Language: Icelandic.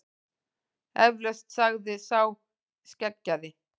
Eflaust, sagði sá skeggjaði.